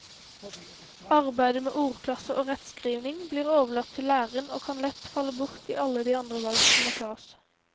Arbeidet med ordklasser og rettskrivning blir overlatt til læreren og kan lett falle bort i alle de andre valg som må tas.